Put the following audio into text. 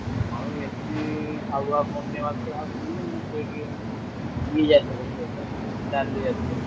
ଆଉ ଏଠି ହାଉ ହାଉ ବନ୍ୟା ବାତ୍ୟା ହୋଉଛି ବୋଲି ମୁଁ ବିରି ଚାଷ କରୁଛି। ଏଥର ଡାଲି ଜାତୀୟ।